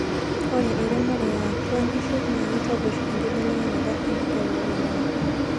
ore eremore eeatua nkishu na keitobir embelekenyata enkijape oloingangi